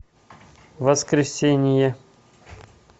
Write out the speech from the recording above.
воскресение